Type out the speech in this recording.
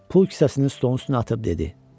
Pul kisəsini stolun üstünə atıb dedi: